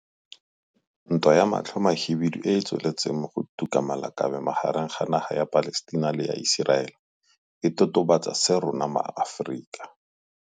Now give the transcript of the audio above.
Ntwa ya matlho a mahibidu e e tsweletseng go tuka ma lakabe magareng ga naga ya Palestina le ya Iseraele e totobatsa se rona maAforika.